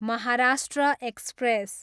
Maharashtra express